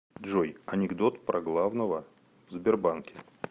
джой анекдот про главного в сбербанке